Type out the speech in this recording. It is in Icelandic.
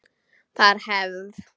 Það er hefð!